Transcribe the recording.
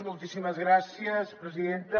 moltíssimes gràcies presidenta